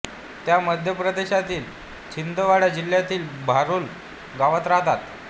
त्या मध्य प्रदेशातील छिंदवाडा जिल्ह्यातील बारूल गावात राहतात